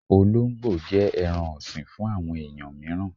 Ọlóńgbò jẹ́ ẹran ọ̀sìn fún àwọn ẹ̀yàn míràn.